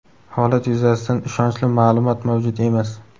Holat yuzasidan ishonchli maʼlumot mavjud emas.